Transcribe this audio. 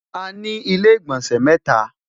àní ilé igbọnsẹ mẹta